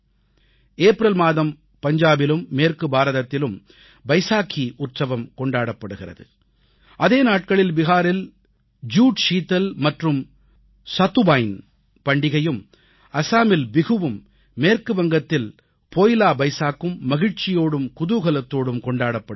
April மாதம் பஞ்சாபிலும் மேற்கு பாரதத்திலும் பைசாகீ உற்சவம் கொண்டாடப்படுகிறது அதே நாட்களில் பீகாரில் ஜுட் ஷீதல் மற்றும் சத்துவாய்ன் சதுவாயின் பண்டிகையும் அஸாமில் பிஹுவும் மேற்கு வங்கத்தில் போயிலா பைஸாக்கும் மகிழ்ச்சியோடும் குதூகலத்தோடும் கொண்டாடப்படுகின்றன